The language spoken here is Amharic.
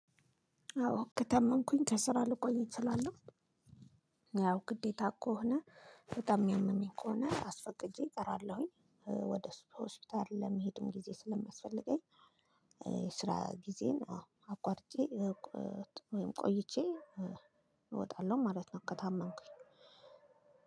አዎ ከተመምኩኝ ከስራ ልቆይ እትላለሁ ያው ግዴታ ከ ሆነ በጣም የሚያመኝ ከሆነ አስፈቅጄ እቀራለሁኝ። ወደ ሆስፒታል ለመሄዱም ጊዜ ስለማስፈልገኝ ስራ ጊዜን አቋርጬ ወይም ቆይቼ እወጣለሁ ማለት ነው ከታመንኩኝ።